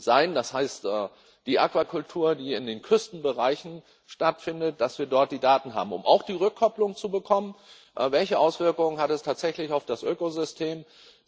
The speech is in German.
sein, das heißt, die Aquakultur, die in den Küstenbereichen stattfindet, dass wir dort die Daten haben, um auch die Rückkopplung zu bekommen, welche Auswirkung es tatsächlich auf das Ökosystem hat.